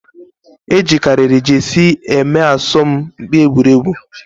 Ejikariri jesie eme aso m mkpi egwuregwu